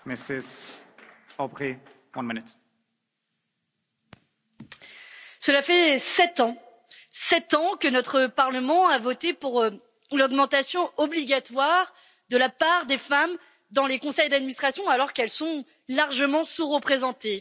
Monsieur le Président, cela fait sept ans, sept ans, que notre Parlement a voté pour l'augmentation obligatoire de la part des femmes dans les conseils d'administration, alors qu'elles sont largement sous représentées.